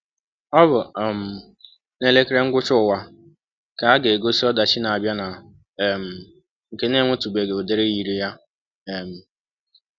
Ọ bụ um na elekere Ngwụcha ụwa ka ga-egosi ọdachi na-abịa na um nke na-enwetụbeghị ụdị yiri ya? um